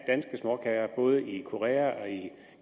småkager både i korea i